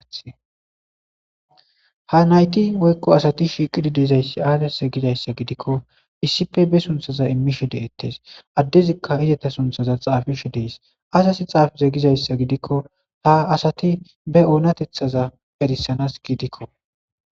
Ha nayti woykko asati shiiqidi deezayssi aadese gizayssa gidikko issippe be sunthaza immishe de7ettes addezikka izata sunthaza xaafishe dees asasi xaafise gizayssa gidikko ha asati be oonatethaza perisanas giidikko